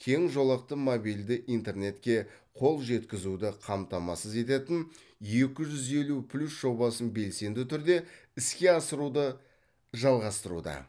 кең жолақты мобильді интернетке қол жеткізуді қамтамасыз ететін екі жүз елу плюс жобасын белсенді түрде іске асыруды жалғастыруда